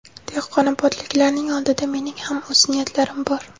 Dehqonobodliklarning oldida mening ham o‘z niyatlarim bor.